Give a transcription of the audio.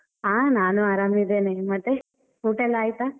ಹಾ ನಾನು ಆರಾಮ್ ಇದ್ದೇನೆ, ಮತ್ತೆ ಊಟ ಎಲ್ಲ ಆಯ್ತಾ?